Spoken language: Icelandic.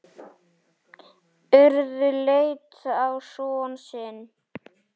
Urður leit á son sinn.